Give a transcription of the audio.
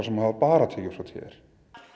sem hafa bara tekjur frá t r